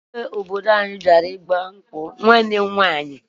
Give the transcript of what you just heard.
Igwe obodo anyị bịara ịgba nkwụ nwanne m nwaanyị